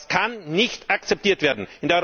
Das kann nicht akzeptiert werden!